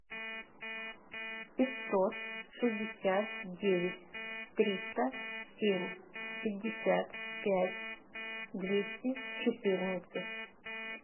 пятьсот шестьдесят девять триста семь пятьдесят пять двести четырнадцать